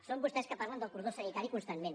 són vostès que parlen del cordó sanitari constantment